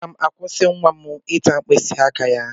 Aga m ga-akwụsị nwa m ịta mkpịsị aka ya.